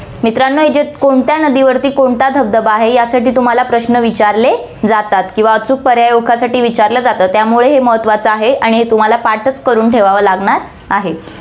मित्रांनो, इथे कोणत्या नदीवरती कोणता धबधबा आहे, यासाठी तुम्हाला प्रश्न विचारले जातात किंवा अचूक पर्याय साठी विचारलं जातं, त्यामुळे हे महत्वाचं आहे आणि हे तुम्हाला पाठचं करून ठेवावं लागणार आहे.